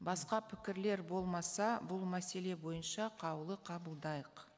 басқа пікірлер болмаса бұл мәселе бойынша қаулы қабылдайық